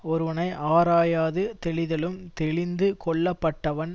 ஒருவனை ஆராயாது தெளிதலும் தெளிந்து கொள்ளப்பட்டவன்